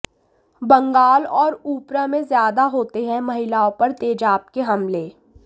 बंगाल और उप्र में ज्यादा होते हैं महिलाओं पर तेजाब के हमले